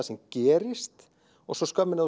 sem gerist og svo skömmin